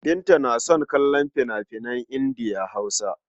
Binta tana son kallon fina-finan Indiya-Hausa.